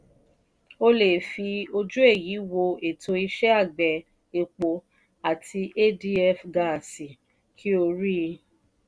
o le è fi ojú èyí wo ètò iṣẹ́ àgbẹ̀ epo àti adf gáásì kí o rí.